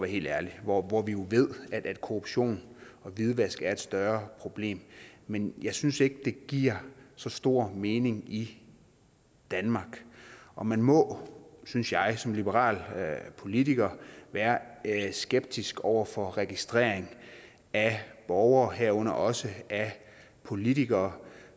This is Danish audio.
helt ærlig hvor hvor vi jo ved at korruption og hvidvask er et større problem men jeg synes ikke det giver så stor mening i danmark og man må synes jeg som liberal politiker være skeptisk over for registrering af borgere herunder også af politikere